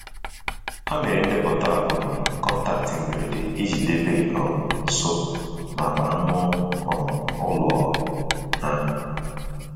Ha mere ndeputa um kọntaktị mgberede iji debe um nso n'akpa ańu um ụlọ ha.